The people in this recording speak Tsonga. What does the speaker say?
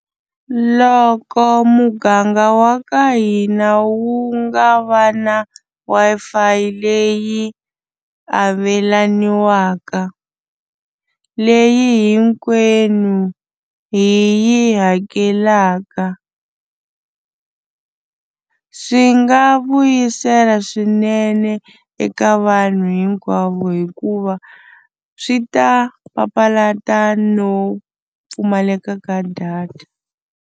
Loko muganga wa ka hina wu nga va na Wi-Fi leyi avelaniwa leyi hinkwenu hi yi hakelaka. Swi nga vuyisela swinene eka vanhu hinkwavo hikuva swi ta papalata no pfumaleka ka data.